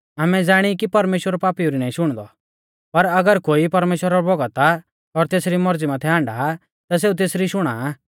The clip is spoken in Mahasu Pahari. आमै ज़ाणी कि परमेश्‍वर पापीऊ री नाईं शुणदौ पर अगर कोई परमेश्‍वरा रौ भौगत आ और तेसरी मौरज़ी माथै हाण्डा आ ता सेऊ तेसरी शुणा आ